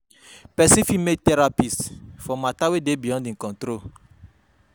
Persin fit meet therapist for matter wey de beyond im control